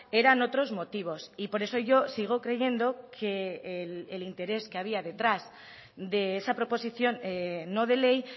eran otros motivos y por eso yo sigo creyendo que el interés que había detrás de esa proposición no de ley